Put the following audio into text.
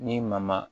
Ni ma ma